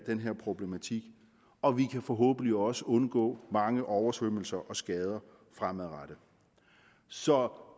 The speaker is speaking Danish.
den her problematik og vi kan forhåbentlig også undgå mange oversvømmelser og skader fremadrettet så